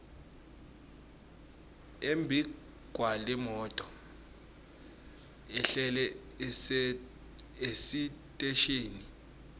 embikwalemoto ehlele esiteshini